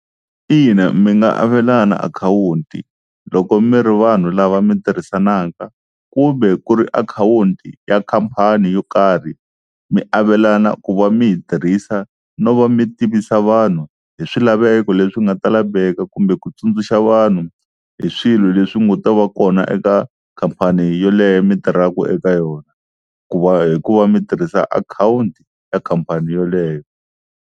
Ina mi nga avelana akhawunti loko mi ri vanhu lava mi tirhisanaka kumbe ku ri akhawunti ya khampani yo karhi mi avelana ku va mi yi tirhisa no va mi tivisa vanhu hi swilaveko leswi nga ta laveka, kumbe ku tsundzuxa vanhu hi swilo leswi nga ta va kona eka khampani yoleyo mi tirhaka eka yona ku va hi ku va mi tirhisa akhawunti ya khampani yaleyo.